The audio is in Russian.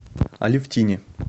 алефтине